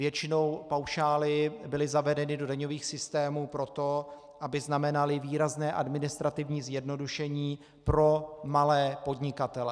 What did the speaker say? Většinou paušály byly zavedeny do daňových systémů proto, aby znamenaly výrazné administrativní zjednodušení pro malé podnikatele.